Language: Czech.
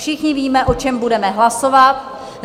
Všichni víme, o čem budeme hlasovat.